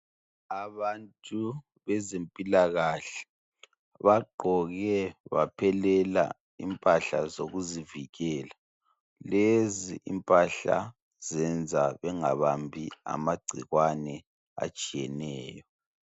Abantu bezempilakahle bagqoke baphelela impahla zokuzivikela lezi impahla zenza bengabambi amagcikwane atshiyeneyo.